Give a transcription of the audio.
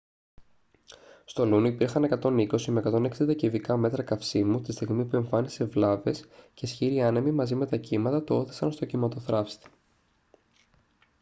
στο luno υπήρχαν 120-160 κυβικά μέτρα καυσίμου τη στιγμή που εμφάνισε βλάβες και οι ισχυροί άνεμοι μαζί με τα κύματα το ώθησαν στον κυμματοθράυστη